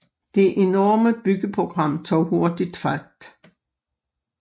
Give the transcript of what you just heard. Det enorme byggeprogram tog hurtigt fart